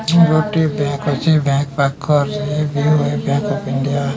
ଗୋଟିଏ ବ୍ୟାଗ ଅଛି ବ୍ୟାଗ ପାଖରେ ବିଆଇ ବ୍ୟାଗ ପୀଡା।